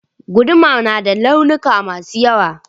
Guduma yana da launuka masu yawa